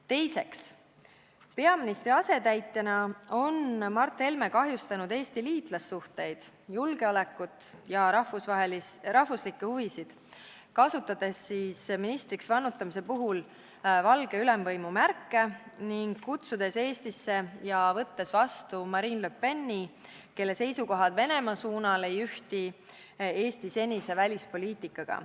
Teiseks, peaministri asetäitjana on Mart Helme kahjustanud Eesti liitlassuhteid, julgeolekut ja rahvuslikke huvisid, kasutades ministriks vannutamise ajal valgete ülemvõimu märki ning kutsudes Eestisse ja võttes siin vastu Marine Le Peni, kelle seisukohad Venemaa kohta ei ühti Eesti senise välispoliitikaga.